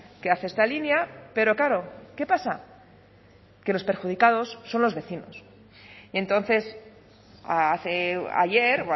que hace esta línea pero claro qué pasa que los perjudicados son los vecinos entonces ayer